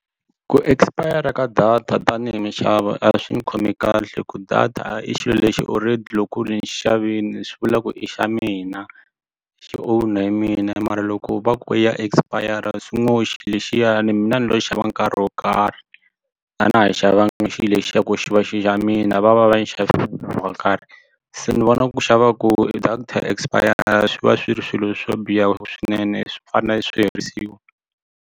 Ku expir-a ka data tanihi mixavi a swi ni khomi kahle ku data i xilo lexi already loko ku ri ni xi xavini swi vula ku i xa mina xi own-a hi mina mara loko va ku ya expire swi ngo xilo lexiyani mina ni lo xava nkarhi wo karhi a na ha xavanga xihi lexiya ku xi va xi xa mina va va va ni xavisele wo karhi se ni vona ku xava ku data ya expire swi va swi ri swilo swo biha swinene swi fanele swi herisiwa.